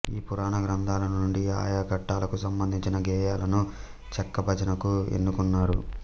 ఈ పురాణ గ్రంథాల నుండి ఆయా ఘట్టాలకు సంబంధించిన గేయాలను చెక్క భజనకు ఎన్నుకున్నారు